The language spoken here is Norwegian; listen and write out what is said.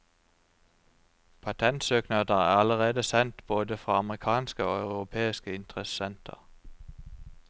Patentsøknader er allerede sendt både fra amerikanske og europeiske interessenter.